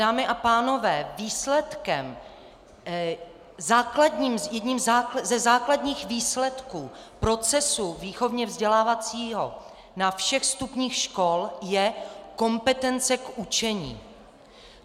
Dámy a pánové, výsledkem - jedním ze základních výsledků procesu výchovně-vzdělávacího na všech stupních škol je kompetence k učení.